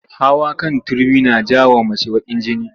Hawa kan Turmi na ja wa mace bakin jini